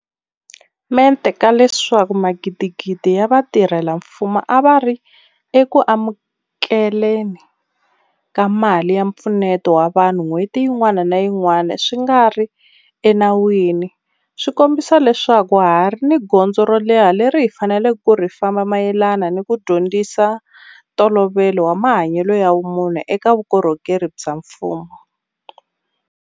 Mente ka leswaku magidigidi ya vatirhela mfumo a va ri eku amukele ni ka mali ya mpfuneto wa vanhu n'hweti yin'wana ni yin'wana swi nga ri enawini swi kombisa leswaku ha ha ri ni gondzo ro leha leri hi faneleke ku ri famba mayelana ni ku dyondzisa ntolovelo wa mahanyelo ya vumunhu eka vukorhokeri bya mfumo.